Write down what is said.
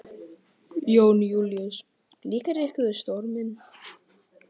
Jón Júlíus: Líkar ykkur við storminn?